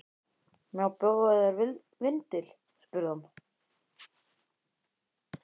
Má bjóða þér vindil? spurði hann.